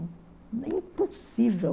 É impossível.